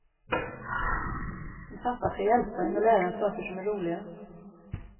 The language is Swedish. En pappa ska hjälpa en och lära en saker som är roliga.